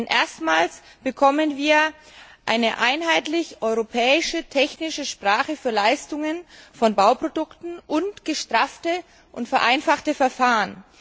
Denn erstmals bekommen wir eine einheitlich europäische technische Sprache für Leistungen von Bauprodukten und gestraffte und vereinfachte Verfahren.